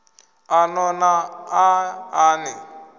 a no na aḽa ni